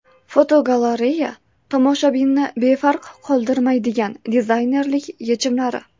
Fotogalereya: Tomoshabinni befarq qoldirmaydigan dizaynerlik yechimlari.